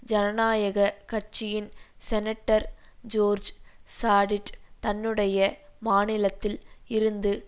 ஜனநாயக கட்சியின் senator George சாடிட் தன்னுடைய மாநிலத்தில் இருந்து